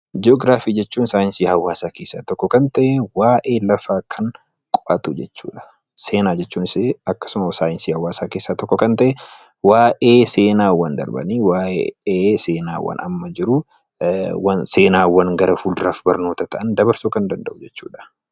Ji'oogiraafii jechuun saayinsii hawaasaa keessaa tokko kan ta'e, waa'ee lafaa kan qo'atu jechuudha. Seenaa jechuunis akkasuma saayinsii hawaasaa keessaa tokko kan ta'e, waa'ee seenaawwan darbanii, waa'ee seenaawwan amma jiruu, seenaawwan gara fulduraaf barumsa ta'an dabarsuu kan danda'u jechuudha.